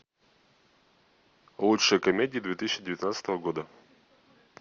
лучшие комедии две тысячи девятнадцатого года